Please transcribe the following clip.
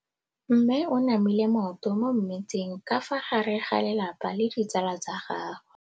Mme o namile maoto mo mmetseng ka fa gare ga lelapa le ditsala tsa gagwe.